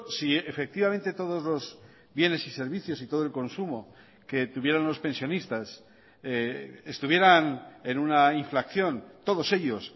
si efectivamente todos los bienes y servicios y todo el consumo que tuvieron los pensionistas estuvieran en una inflación todos ellos